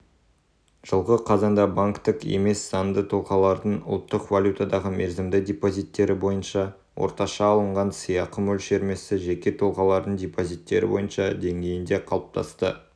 жылғы қазанда банктік емес заңды тұлғалардың ұлттық валютадағы мерзімді депозиттері бойынша орташа алынған сыйақы мөлшерлемесі жеке тұлғалардың депозиттері бойынша деңгейінде қалыптасты